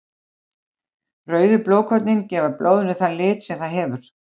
Rauðu blóðkornin gefa blóðinu þann lit sem það hefur.